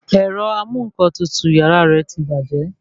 Ẹ̀rọ amú-ǹkan-tutù yàrá rẹ ti bàjẹ́